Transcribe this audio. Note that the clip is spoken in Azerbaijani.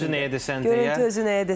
Görüntü özü nəyə deyəsən deyə.